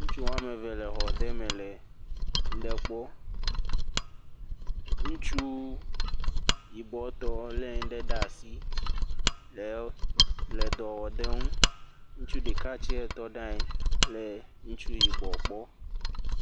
Ŋutsu woame eve le xɔ ɖe me le ŋu ɖe kpɔ, ŋutsu yibɔtɔ lé ŋu ɖe ɖe asi le dɔ wɔm le eŋu, ŋutsu ɖeka tse tɔ ɖe anyi le ŋutsu yibɔ kpɔ.